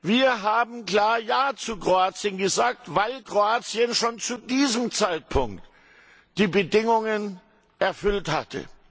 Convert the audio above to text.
Wir haben klar Ja zu Kroatien gesagt, weil Kroatien schon zu diesem Zeitpunkt die Bedingungen erfüllt hatte.